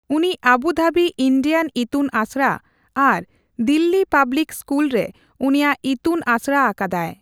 ᱩᱱᱤ ᱟᱵᱩᱫᱷᱟᱵᱤ ᱤᱱᱰᱤᱭᱟᱱ ᱤᱛᱩᱱ ᱟᱥᱲᱟ ᱟᱨ ᱫᱤᱞᱞᱤ ᱯᱟᱵᱞᱤᱠ ᱥᱠᱩᱞᱨᱮ ᱩᱱᱤᱭᱟᱜ ᱤᱛᱩᱱ ᱟᱥᱲᱟ ᱟᱠᱟᱫᱟᱭ ᱾